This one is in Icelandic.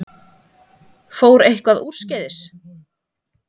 Fór eitthvað úrskeiðis?